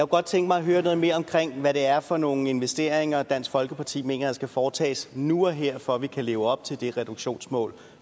godt tænke mig at høre noget mere om hvad det er for nogle investeringer dansk folkeparti mener der skal foretages nu og her for at vi kan leve op til det reduktionsmål